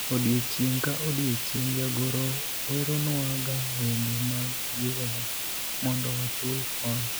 odiochieng' ka odiochieng' jagoro weronwa ga wende mag jiwowa mondo wachul hola